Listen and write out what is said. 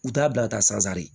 U t'a bila ka taa sansare